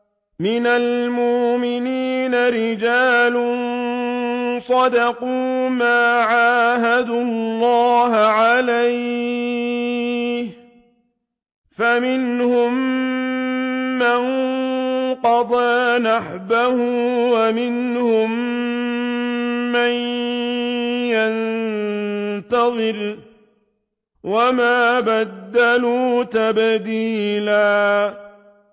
مِّنَ الْمُؤْمِنِينَ رِجَالٌ صَدَقُوا مَا عَاهَدُوا اللَّهَ عَلَيْهِ ۖ فَمِنْهُم مَّن قَضَىٰ نَحْبَهُ وَمِنْهُم مَّن يَنتَظِرُ ۖ وَمَا بَدَّلُوا تَبْدِيلًا